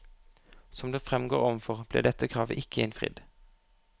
Som det fremgår overfor, ble dette kravet ikke innfridd.